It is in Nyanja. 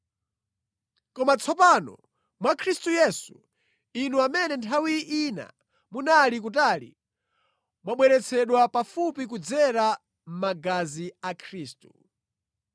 Koma tsopano mwa Khristu Yesu, inu amene nthawi ina munali kutali, mwabweretsedwa pafupi kudzera mʼmagazi a Khristu.